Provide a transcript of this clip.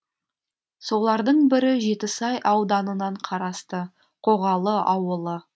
солардың бірі жетісай ауданынан қарасты қоғалы ауылы